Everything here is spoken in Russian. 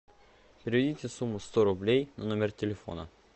переведите сумму сто рублей на номер телефона